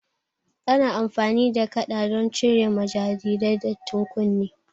Ana amfani da kaɗa don cire ma jariri dattin kunne